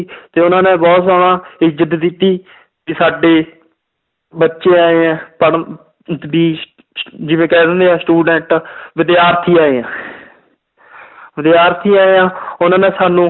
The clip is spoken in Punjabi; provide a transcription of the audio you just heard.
ਤੇ ਉਹਨਾਂ ਨੇ ਬਹੁਤ ਜ਼ਿਆਦਾ ਇੱਜ਼ਤ ਦਿੱਤੀ ਕਿ ਸਾਡੇ ਬੱਚੇ ਆਏ ਹੈ ਜਿਵੇਂ ਕਹਿ ਦਿੰਦੇ ਹੈ student ਵਿਦਿਆਰਥੀ ਆਏ ਹੈ ਵਿਦਿਆਰਥੀ ਆਏ ਆ ਉਹਨਾਂ ਨੇ ਸਾਨੂੰ